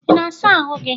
ị na-asa ahụ gị?